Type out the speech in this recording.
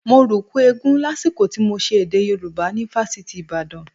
Mo rùkú eégún lásìkò tí mo ṣe èdè Yorùbá ni fásitì Ìbàdàn